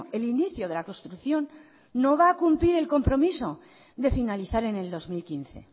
el inicio de la construcción no va a cumplir el compromiso de finalizar en el dos mil quince